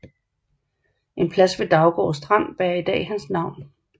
En plads ved Daugaard Strand bærer i dag hans navn